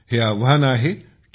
हे आव्हान आहे टी